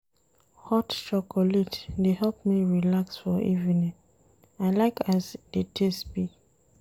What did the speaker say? Hot chocolate dey help me relax for evening, I like as di taste be.